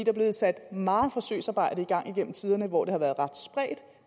er blevet sat meget forsøgsarbejde i gang igennem tiderne hvor det har været ret spredt